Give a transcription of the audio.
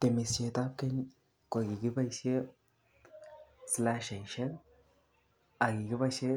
Temisietab keny kokikipoishen slashaisiek ak kikipoishen